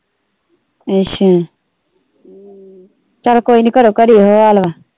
ਅੱਛਾ ਚੱਲ ਕੋਈ ਨਹੀਂ ਘਰੋਂ ਘਰ ਈ ਇਹੋ ਹਾਲ ਵਾ।